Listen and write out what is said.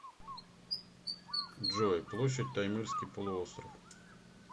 джой площадь таймырский полуостров